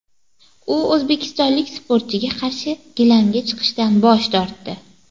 U o‘zbekistonlik sportchiga qarshi gilamga chiqishdan bosh tortdi.